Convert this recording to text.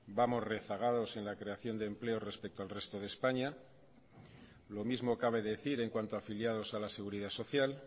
vamos rezagados en la creación de empleo respecto al resto de españa lo mismo cabe decir en cuanto a afiliados a la seguridad social